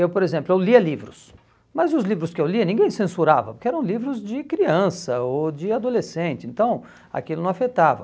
Eu, por exemplo, eu lia livros, mas os livros que eu lia ninguém censurava, porque eram livros de criança ou de adolescente, então aquilo não afetava.